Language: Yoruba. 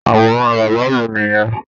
Àwòrán bàbá mi nìyẹn.